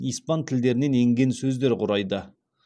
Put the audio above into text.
испан тілдерінен енген сөздер құрайды